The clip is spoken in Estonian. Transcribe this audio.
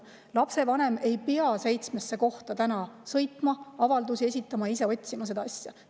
Lapsevanem ei pea sõitma seitsmesse kohta avaldusi esitama, ise seda asja otsima.